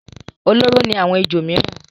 Olóró ni àwọn ejò mìíràn.